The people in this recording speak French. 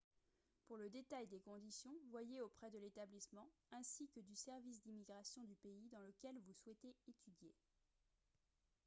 pour le détail des conditions voyez auprès de l'établissement ainsi que du service d'immigration du pays dans lequel vous souhaitez étudier